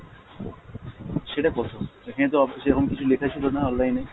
সেটা কত? এখানে তো সেরকম কিছু লেখা ছিলো না online এ।